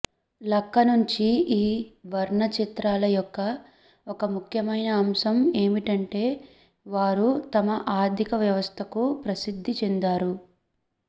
లక్క నుండి ఈ వర్ణచిత్రాల యొక్క ఒక ముఖ్యమైన అంశం ఏమిటంటే వారు తమ ఆర్థిక వ్యవస్థకు ప్రసిద్ధి చెందారు